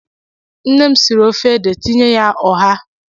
Nne m siri ofe ede tinye ya ụ́bha.